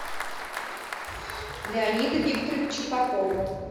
леонида викторовича попова